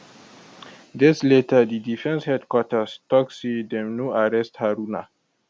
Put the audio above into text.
days later di defence headquarters tok say dem no arrest haruna